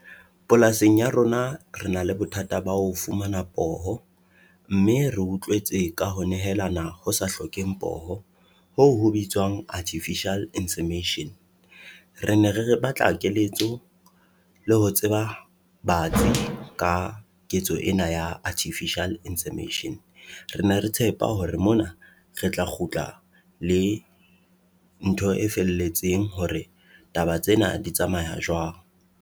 Polasing ya rona re na le bothata ba ho fumana poho, mme re utlwetse ka ho nehelana ho sa hlokeheng poho, ho ho bitswang artificial . Re ne re re batla ho keletso le ho tseba batsi ka ketso ena ya artificial . Re na re tshepa hore mona re tla kgutla le ntho e felletseng hore taba tsena di tsamaya jwang.